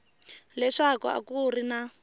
leswaku a ku ri na